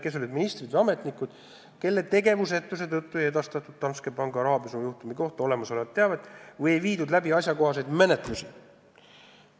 "Kes olid ministrid või ametnikud, kelle tegevusetuse tõttu ei edastatud Danske panga rahapesujuhtumi kohta olemas olevat teavet või ei viidud läbi asjakohaseid menetlusi?